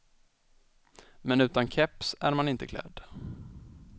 Men utan keps är man inte klädd.